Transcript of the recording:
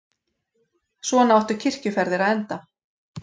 Svona áttu kirkjuferðir að enda.